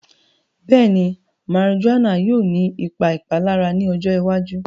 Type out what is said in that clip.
Bẹ́ẹ̀ni, marijuana yóò ní ìpà ìpàlàrà ní ọjọ́ ìwàjú